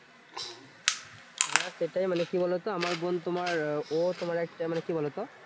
হ্যাঁ সেটাই মানে কি বলতো? আমার বোন তোমার আহ ও তোমার একটা মানে কি বলতো?